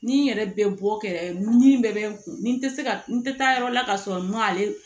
Ni n yɛrɛ bɛ bɔ kɛrɛ ni min bɛɛ bɛ n kun tɛ se ka n tɛ taa yɔrɔ la ka sɔrɔ n ma ale